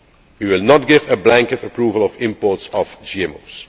hormones. We will not give a blanket approval of imports